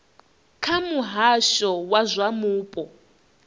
kha muhasho wa zwa mupo